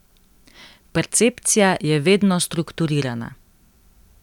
Percepcija je vedno strukturirana.